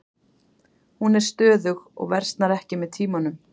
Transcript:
Hún er stöðug og versnar ekki með tímanum.